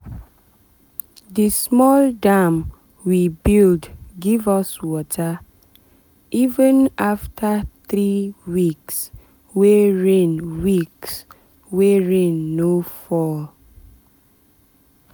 the small dam we build give us water even after three weeks wey rain weeks wey rain no fall.